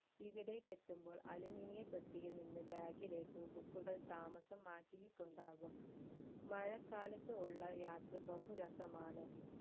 ഇവിടേക്ക് എത്തുമ്പോൾ aluminia പെട്ടിയിൽ നിന്ന് bag ലേക്ക് book കൾ താമസം മാറ്റിയിട്ടുണ്ടാകും മഴക്കാലത്തുള്ള യാത്ര ബഹുരസമാണ്